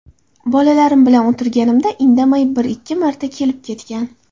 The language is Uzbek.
Bolalarim bilan o‘tirganimda indamay, bir-ikki marta kelib-ketgan.